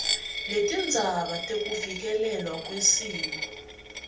letindzaba tekuvikelelwa kwesimo